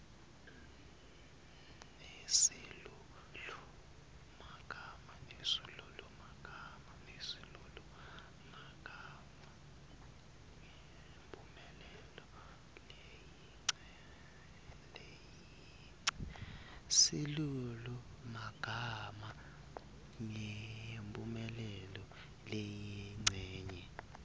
nesilulumagama ngemphumelelo leyincenye